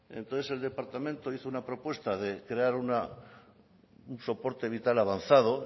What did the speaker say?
entonces el departamento hizo una propuesta de crear un soporte vital avanzado